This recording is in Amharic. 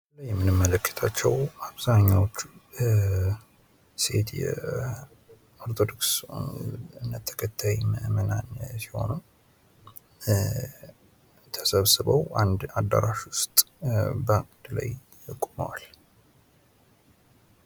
የምንመለከታቸው አብዛኛውን ሴት የኦርቶዶክስ እምነት ተከታዮች ሲሆኑ አንድ አዳራሽ ውስጥ ተሰብስበው አዳራሽ ውስጥ ቆመዋል።